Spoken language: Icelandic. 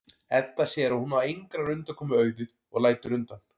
Edda sér að hún á engrar undankomu auðið og lætur undan.